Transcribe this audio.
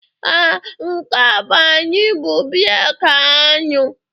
Ee, nke a anyị bụ breeki aṅụ